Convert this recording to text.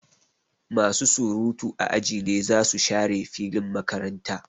Masu surutu a aji ne zasu share filin makaranta.